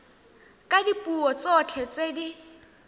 ka dipuo tsotlhe tse di